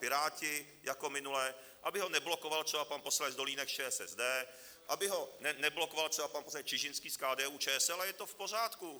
Piráti jako minule, aby ho neblokoval třeba pan poslanec Dolínek z ČSSD, aby ho neblokoval třeba pan poslanec Čižinský z KDU-ČSL, a je to v pořádku.